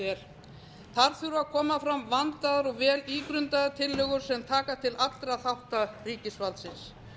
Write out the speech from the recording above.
vel þar þurfa að koma fram vandaðar og vel ígrundaðar tillögur sem taka til allra þátta ríkisvaldsins